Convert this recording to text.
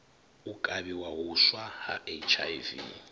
u kavhiwa huswa ha hiv